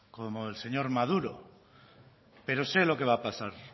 como el señor maduro pero sé lo que va a pasar